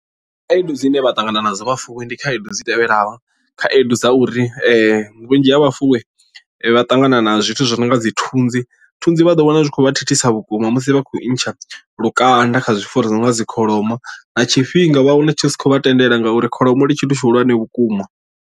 Khaedu dzine vha ṱangana nadzo vhafuwi ndi khaedu dzi tevhelaho khaedu dza uri vhunzhi ha vhafuwi vha ṱangana na zwithu zwi no nga dzi thunzi thunzi vha ḓo wana zwi khou vha thithisa vhukuma musi vha khou ntsha lukanda kha zwifuwo zwi no nga dzi kholomo na tshifhinga vha wane tshi si khou vha tendela ngauri kholomo ndi tshithu tshihulwane vhukuma.